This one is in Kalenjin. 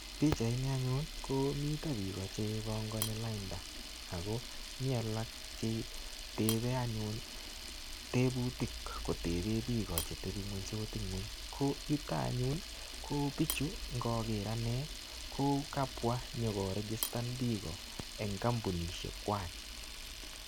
Pichait ni anyun ko mito biko chepongoni lainda ako mi alak che tepei anyun tebutik kotebe biko chetepinguensot ng'weny ko yuto anyun ko bichu ngoker ane ko kabwa nyoko registan biko eng komputaishek kwach.